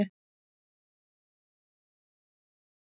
Asírí, hver syngur þetta lag?